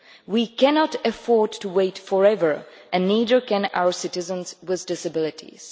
We cannot afford to wait forever and neither can our citizens with disabilities.